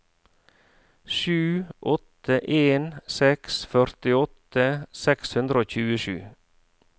sju åtte en seks førtiåtte seks hundre og tjuesju